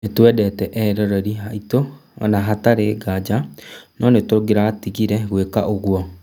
Nĩtwendete eroreri aitũ, na hatarĩ nganja, no nĩtũngĩratigire gwĩka ũguo